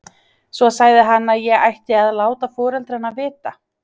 Svo sagði hann að ég ætti að láta foreldrana vita.